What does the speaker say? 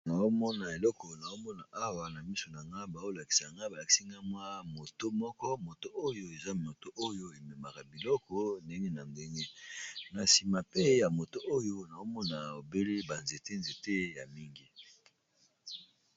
Awa namona eloko naomona awa na miso na nga bao lakisaga ba lakisinga mwa moto moko moto oyo eza moto oyo ememaka biloko ndenge na ndenge, na sima pe ya moto oyo naomona obele ba nzete nzete ya mingi.